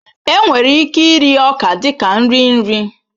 Enwere ike iri ọka dị ka nri nri